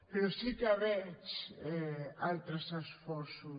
però sí que veig altres esforços